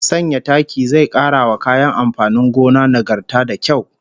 Sanya taki zai kara wa kayan amfanin gona nagarta da kyau